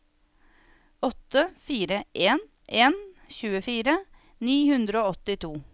åtte fire en en tjuefire ni hundre og åttito